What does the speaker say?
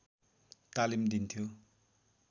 तालिम दिन्थ्यो